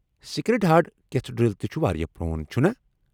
Sacred Heart Cathedral تہِ چُھ واریاہ پرٛون، چھُنا؟